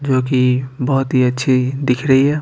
जो कि बहुत ही अच्छी दिख रही है।